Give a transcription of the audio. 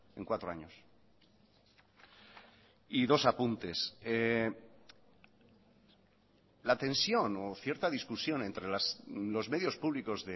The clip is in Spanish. en cuatro años y dos apuntes la tensión o cierta discusión entre los medios públicos